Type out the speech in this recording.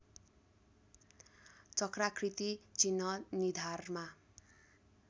चक्राकृति चिह्न निधारमा